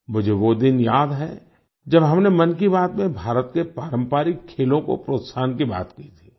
मुझे वो दिन याद है जब हमने मन की बात में भारत के पारंपरिक खेलों को प्रोत्साहन की बात की थी